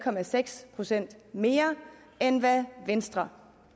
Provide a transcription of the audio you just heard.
procent mere end hvad venstre